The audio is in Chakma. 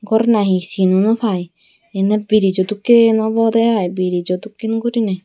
gor na he sin naw pai iyenaw brizo dokken obodey ai brizo dokken guriney.